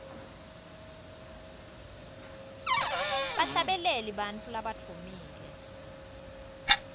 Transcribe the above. bahlabeleli bantfu labadvumile